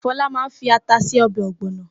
Fọlá máa fi ata se ọbẹ̀ ọ̀gbọ̀nà.